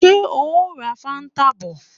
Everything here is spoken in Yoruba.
Ṣé o ó ra fáńtà bọ̀?